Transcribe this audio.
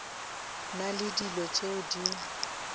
na le dilo tšeo di